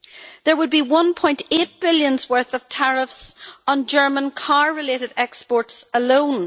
There would be 1.8 billion worth of tariffs on German car related exports alone.